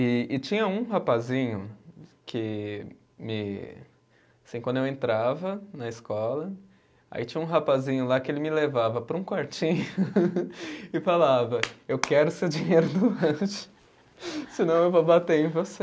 E e tinha um rapazinho que me, assim, quando eu entrava na escola, aí tinha um rapazinho lá que ele me levava para um quartinho e falava, eu quero o seu dinheiro do lanche senão eu vou bater em você.